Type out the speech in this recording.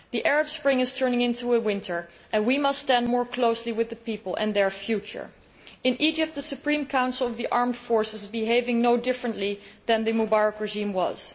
The Arab Spring is turning into a winter and we must stand more closely with those people and their future. In Egypt, the Supreme Council of the Armed Forces is behaving no differently than the Mubarak regime was.